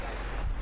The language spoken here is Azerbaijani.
Nə baxırsan?